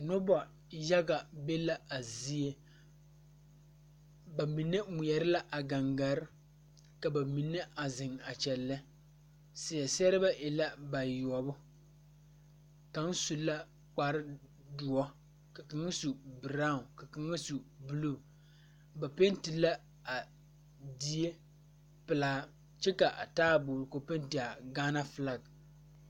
Nobɔ yaga be la a zie ba mine ngmeɛrɛ la a gaŋgarre ka ba mine a zeŋ a kyɛllɛ seɛ sɛrebɛ e la bayoɔbo kaŋ su la kparedoɔ ka kaŋa su braawn ka kaŋa su bluu ba penti la a die pelaa kyɛ ka a taaboore penti a gaana flak.